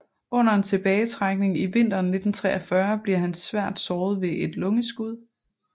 Under en tilbagetrækning i vinteren 1943 bliver han svært såret ved et lungeskud